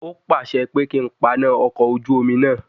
He instructed me to turn of the ship engine.